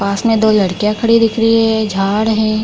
पास मे दो लड़कियां खड़ी दिख रही है झाड़ है।